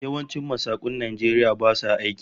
Yawancin masakun Najeriya basu aiki